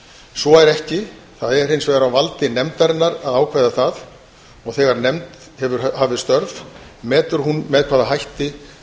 svo er ekki það er hins vegar á valdi nefndarinnar að ákveða það og þegar nefnd hefur hafið störf metur hún með hvaða hætti